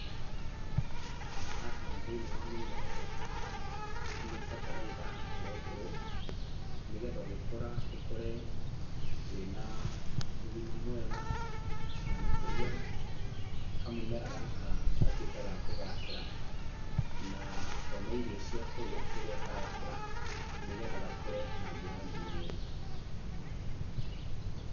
Haha thĩiniĩ wa mũmera ũyũ, nĩ bataraitha ũrekĩrwo, nĩgetha ũgĩkũra ũkũre, wĩ na ũgima mwega, na makĩria kamũmera gaka gatuĩke ga kũgacĩra, na kone irio cia kũrĩa rĩrĩa karakũra, nĩgetha gakũre na njĩra nginyanĩru.